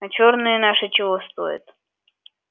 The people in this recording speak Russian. а чёрные наши чего стоят